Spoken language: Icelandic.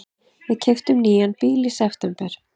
Við keyptum nýjan bíl í september.